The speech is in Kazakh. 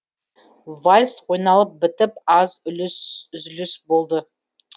вальс ойналып бітіп аз үзіліс болды